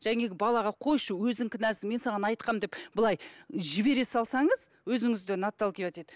балаға қойшы өзің кінәлісің мен саған айтқанмын деп былай жібере салсаңыз өзіңізден отталкивать етіп